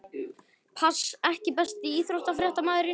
Pass EKKI besti íþróttafréttamaðurinn?